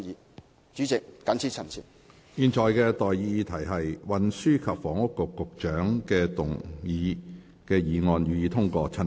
我現在向各位提出的待議議題是：運輸及房屋局局長動議的議案，予以通過。